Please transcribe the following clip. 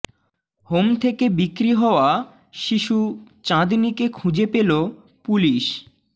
home থেকে বিক্রি হওয়া শিশু চাঁদনিকে খুঁজে পেল পুলিস